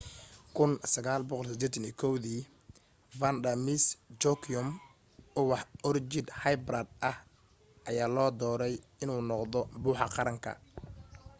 1981 vanda miss joaquim ubax orchid hybrid ah ayaa loo dooray in uu noqdo buxa qaranka